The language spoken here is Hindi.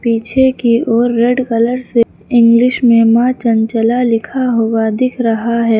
पीछे की ओर रेड कलर से इंग्लिश में माँ चंचला लिखा हुआ दिख रहा है।